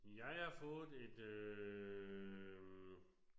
Jeg har fået et øh